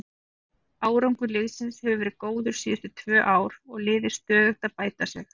Árangur liðsins hefur verið góður síðustu tvö ár og liðið stöðugt að bæta sig.